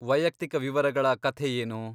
ವೈಯಕ್ತಿಕ ವಿವರಗಳ ಕಥೆ ಏನು?